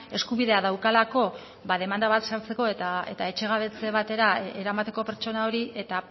eskubidea daukalako demanda bat sartzeko eta etxegabetze batera eramateko pertsona hori eta